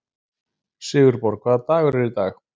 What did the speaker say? Sigurborg, hvaða dagur er í dag?